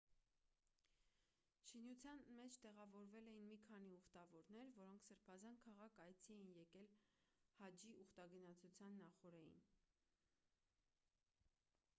շինության մեջ տեղավորվել էին մի քանի ուխտավորներ որոնք սրբազան քաղաք այցի էին եկել հաջի ուխտագնացության նախօրեին